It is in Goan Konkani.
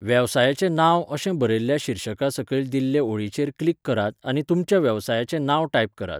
वेवसायाचें नांव' अशें बरयल्ल्या शीर्शका सकयल दिल्ले ओळीचेर क्लिक करात आनी तुमच्या वेवसायाचे नांव टाइप करात.